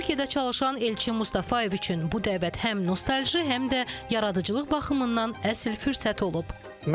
Türkiyədə çalışan Elçin Mustafayev üçün bu dəvət həm nostalji, həm də yaradıcılıq baxımından əsl fürsət olub.